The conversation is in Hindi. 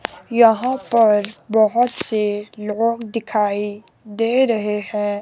यहां पर बहोत से लोग दिखाएं दे रहे हैं।